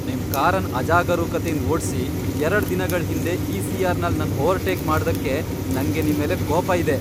ನಿಮ್ ಕಾರನ್ ಅಜಾಗರೂಕತೆಯಿಂದ್ ಓಡ್ಸಿ ಎರಡ್ ದಿನಗಳ್ ಹಿಂದೆ ಇ, ಸಿ, ಆರ್, ನಲ್ ನನ್ ಓವರ್ಟೇಕ್ ಮಾಡ್ದಕ್ಕೆ ನಂಗೆ ನಿಮ್ಮೆಲೆ ಕೋಪ ಇದೆ.